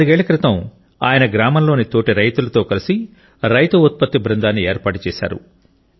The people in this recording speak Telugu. నాలుగేళ్ల క్రితం ఆయన గ్రామంలోని తోటి రైతులతో కలిసి రైతు ఉత్పత్తి బృందాన్ని ఏర్పాటు చేశారు